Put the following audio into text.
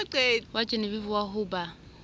wa genevieve wa ho ba